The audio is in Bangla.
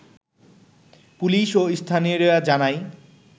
পুলিশ ও স্থানীয়রা জানায়